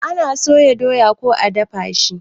Ana soya doya ko a dafa shi